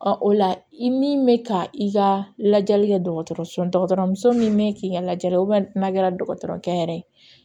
o la i min bɛ ka i ka lajɛli kɛ dɔgɔtɔrɔso dɔgɔtɔrɔ muso min bɛ k'i ka lajɛli ye n'a kɛra dɔgɔtɔrɔkɛ yɛrɛ ye